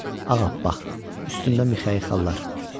Ağappaq, üstündə mixəyi xallar.